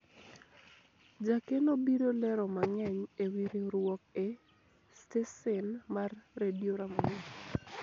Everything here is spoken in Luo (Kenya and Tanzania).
jakeno biro lero mang'eny ewi riwruok e stesen mar redio ramogi